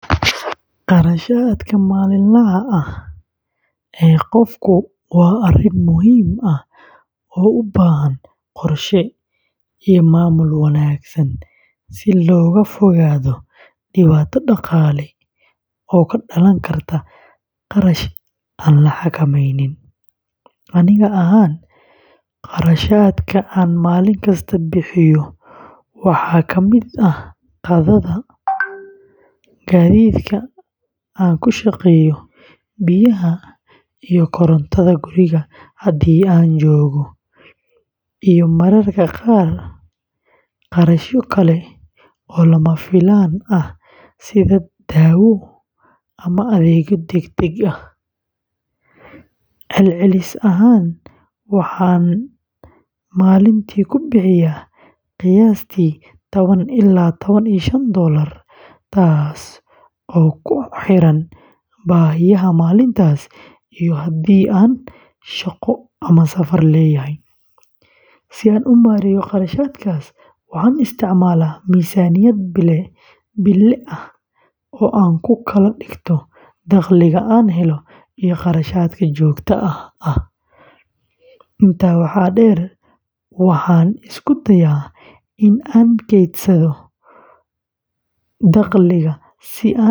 Kharashaadka maalinlaha ah ee qofku waa arrin muhiim ah oo u baahan qorshe iyo maamul wanaagsan si looga fogaado dhibaato dhaqaale oo ka dhalan karta kharash aan la xakameynin. Aniga ahaan, kharashaadka aan maalin kasta bixiyo waxaa ka mid ah qadada, gaadiidka aan ku shaqeeyo, biyaha iyo korontada guriga haddii aan joogo, iyo mararka qaar kharashyo kale oo lama filaan ah sida dawo ama adeegyo degdeg ah. Celcelis ahaan, waxaan maalintii ku bixiyaa qiyaastii tawan ilaa tawan iyo shaan doolar, taas oo ku xiran baahiyaha maalintaas iyo haddii aan shaqo ama safar leeyahay. Si aan u maareeyo kharashaadkaas, waxaan isticmaalaa miisaaniyad bille ah oo aan ku kala dhigto dakhliga aan helo iyo kharashaadka joogtada ah. Intaa waxaa dheer, waxaan isku dayaa in aan kaydsado dakhliga si aan ugu diyaar garoobo.